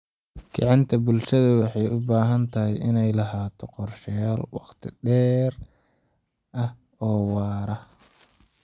Kicinta bulshada waxay u baahan tahay inay lahaato qorshayaal waqti dheer ah oo waara.